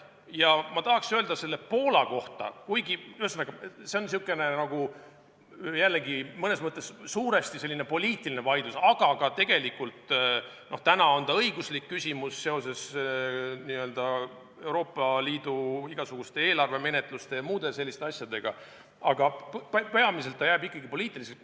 Ja ma tahaks öelda Poola kohta, et see on jällegi mõnes mõttes suuresti poliitiline vaidlus – kuigi tegelikult praegu ka õiguslik küsimus seoses Euroopa Liidu igasuguste eelarvemenetluste jms asjadega, jääb ta peamiselt ikkagi poliitiliseks.